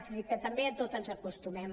és a dir que també a tot ens acostumem